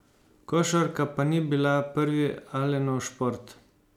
Košarka pa ni bila prvi Alenov šport.